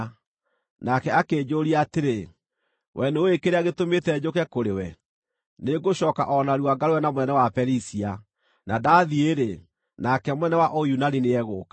Nake akĩnjũũria atĩrĩ, “Wee nĩũũĩ kĩrĩa gĩtũmĩte njũke kũrĩ we? Nĩngũcooka o narua ngarũe na mũnene wa Perisia, na ndathiĩ-rĩ, nake mũnene wa Ũyunani nĩegũka;